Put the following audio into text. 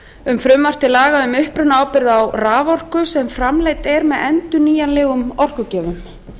um frumvarp til laga um upprunaábyrgð á raforku sem framleidd er með endurnýjanlegum orkugjöfum